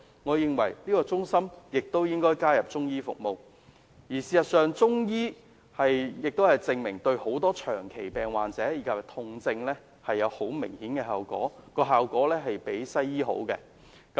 我認為應該在健康中心加入中醫服務，而事實亦證明中醫對很多長期病患及痛症有很明顯的效果，比西醫更佳。